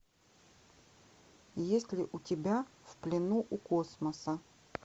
есть ли у тебя в плену у космоса